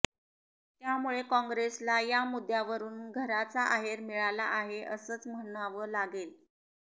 त्यामुळे कॉंग्रेसला यामुद्द्यावरून घराचा आहेर मिळाला आहे असंच म्हणव लागेल